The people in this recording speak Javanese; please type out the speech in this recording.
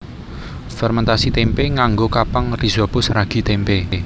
Fermèntasi témpé nganggo kapang rhizopus ragi tempe